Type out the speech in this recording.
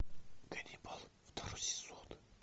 ганнибал второй сезон